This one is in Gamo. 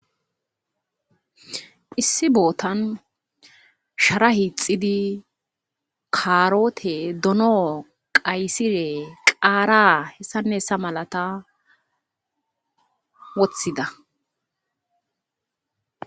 Issi bootan shara hiixidi kaarote dono qaysire qaara hessanneessa malata woththida